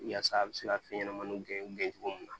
Yaasa a bi se ka fɛn ɲɛnɛmaniw gɛn gɛn cogo min na